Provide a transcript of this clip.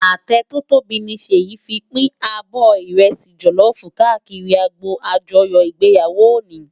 Atẹ tò tóbi ni Seyi fin pin ábò ìrẹsì jòlòfú kàákìrí ágbó ájòyò igbéyáwó óni